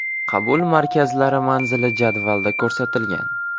Qabul markazlari manzili jadvalda ko‘rsatilgan.